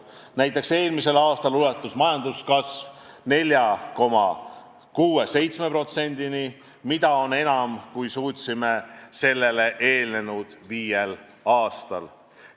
Näiteks eelmisel aastal ulatus majanduskasv 4,9%-ni, mida on enam, kui suutsime sellele eelnenud viiel aastal.